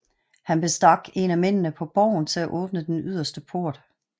Han bestak en af mændene på borgen til at åbne den yderste port